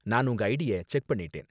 நா உங்க ஐடிய செக் பண்ணிட்டேன்.